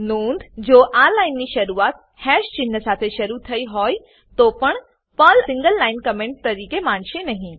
નોંધઃ જો આ લાઈન ની શરૂઆત હેશ ચિન્હ સાથે શરુ થયી હોય તો પણ પર્લ સિંગલ લાઈન કમેન્ટ તરીકે માનશે નહી